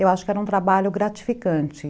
Eu acho que era um trabalho gratificante.